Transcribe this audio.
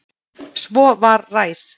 Svo var ræs.